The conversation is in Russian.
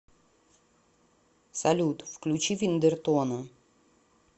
салют включи виндертона